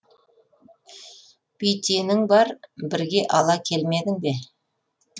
бүйтенің бар бірге ала келмедің бе